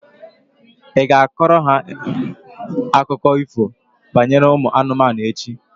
Ị ga-akọrọ ha akụkọ ifo banyere ụmụ anụmanụ echi?